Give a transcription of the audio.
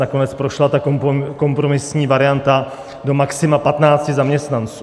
Nakonec prošla ta kompromisní varianta do maxima 15 zaměstnanců.